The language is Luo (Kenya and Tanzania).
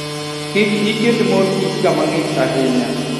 Kik iket mor kich kama ng'ich ahinya.